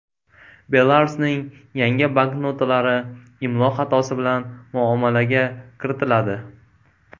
Belarusning yangi banknotalari imlo xatosi bilan muomalaga kiritiladi.